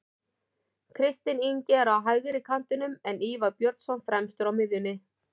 Kristinn Ingi er á hægri kantinum en Ívar Björnsson fremstur á miðjunni.